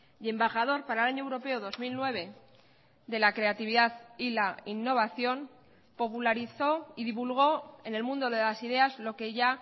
y embajador para el año europeo dos mil nueve de la creatividad y la innovación popularizó y divulgó en el mundo de las ideas lo que ya